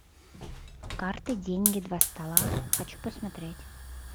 карты деньги два ствола хочу посмотреть